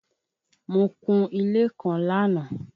Mo kun-un ilé kan lánàá.